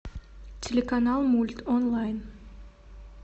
телеканал мульт онлайн